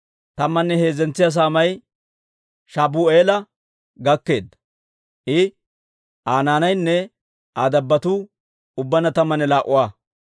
Tammanne heezzentsa saamay Shabu'eela gakkeedda; I, Aa naanaynne Aa dabbotuu ubbaanna tammanne laa"a.